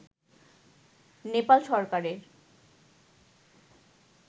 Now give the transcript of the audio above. নেপাল সরকারের